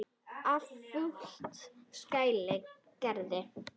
Að fullu skal greiða: